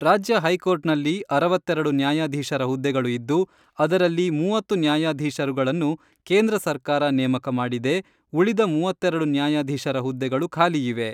ರಾಜ್ಯ ಹೈಕೋರ್ಟ್ನಲ್ಲಿ, ಅರವತ್ತೆರೆಡು ನ್ಯಾಯಾಧೀಶರ ಹುದ್ದೆಗಳು ಇದ್ದು ಅದರಲ್ಲಿ ಮೂವತ್ತು ನ್ಯಾಯಾಧಿಶರುಗಳನ್ನು ಕೇಂದ್ರ ಸರ್ಕಾರ ನೇಮಕ ಮಾಡಿದೆ ಉಳಿದ ಮೂವತ್ತೆರೆಡು ನ್ಯಾಯಧೀಶರ ಹುದ್ದೆಗಳು ಖಾಲಿಯಿವೆ.